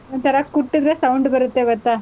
ಒಂಥರಾ ಕುಟ್ಟುದ್ರೆ sound ಬರತ್ತೆ ಗೊತ್ತಾ?